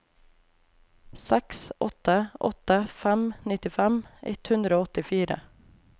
seks åtte åtte fem nittifem ett hundre og åttifire